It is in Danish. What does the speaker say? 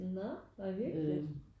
Når hvor hyggeligt